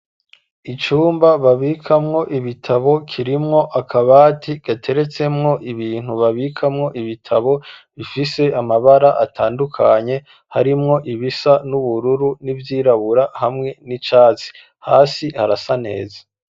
Icumba babikamwo ibitabo kirimwo akabati gateretsemwo ibintu babikamwo ibitabo bifise amabara atandukanye harimwo ibisa n'ubururu ni vyirabura hamwe n'icatsi hasi harasaneza.